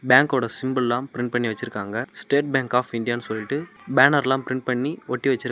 பேங்கோட சிம்பல்லா பிரிண்ட் பண்ணி வெச்சுருக்காங்க ஸ்டேட் பேங்க் ஆப் இந்தியானு சொல்ட்டு பேனர்ல பிரிண்ட் பண்ணி ஒட்டி வெச்சுருக்.